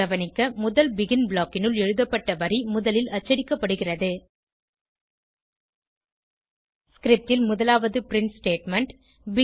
கவனிக்க முதல் பெகின் blockனுள் எழுதப்பட்ட வரி முதலில் அச்சடிக்கப்படுகிறது ஸ்கிரிப்ட் ல் முதலாவது பிரின்ட் ஸ்டேட்மெண்ட்